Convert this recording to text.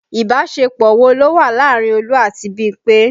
Ìbásepọ̀ wo ló wà láàárín Olú àti Bímpé